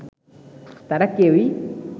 তারা কেউই